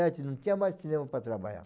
não tinha mais cinema para trabalhar.